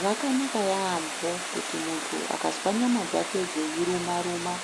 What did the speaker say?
Zvakanaka yaampo kuti muntu akazwa nyama dzake dzei ruma ruma,